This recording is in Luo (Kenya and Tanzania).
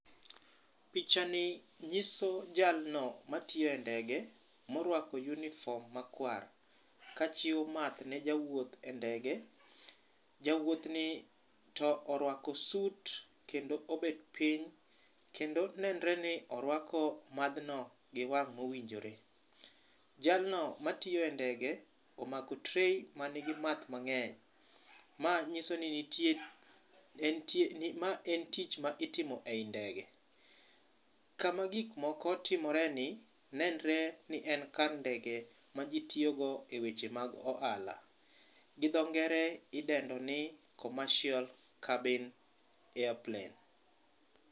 Pichani nyiso jalno matiye ndege morwako uniform makwar kachiwo math ne jawuoth e ndege. Jawuothni to orwako suit kendo obet piny kendo nenore ni orwako madhno gi wang' mowinjore. Jalno matiyoe e ndege omako tray manigi math mang'eny. Ma nyiso ni nitie , ma en tich ma itimo ei ndege. Kama gik moko timoreni ,nenore ni en kar ndege ma ji tiyogo e weche mag ohala. Gi dho ngere idendo ni, commercial cabin airplane.